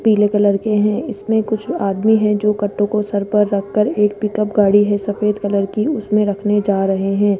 पीले कलर के है इसमें कुछ आदमी है जो कटु को सर पर रखकर एक पिकअप गाड़ी है सफेद कलर की उसमें रखने जा रहे है।